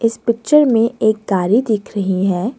इस पिक्चर में एक गाड़ी दिख रही है।